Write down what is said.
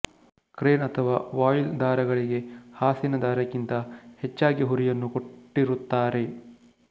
crane ಅಥವಾ voile ದಾರಗಳಿಗೆ ಹಾಸಿನ ದಾರಕ್ಕಿಂತ ಹೆಚ್ಚಾಗಿ ಹುರಿಯನ್ನು ಕೊಟ್ಟಿರುತ್ತಾರೆ